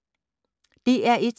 DR1